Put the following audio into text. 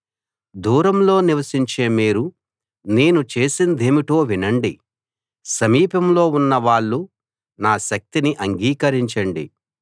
దూరంలో నివసించే మీరు నేను చేసిందేమిటో వినండి సమీపంలో ఉన్న వాళ్ళు నా శక్తిని అంగీకరించండి